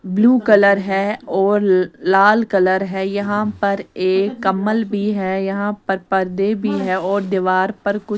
blue colour है और ल लाल कलर है यहाँ पर एक कम्मल भी है यहाँ पर पर्दे भी हैं और दीवार पर कु --